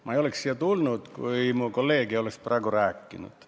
Ma ei oleks siia tulnud, kui mu kolleeg ei oleks praegu rääkinud.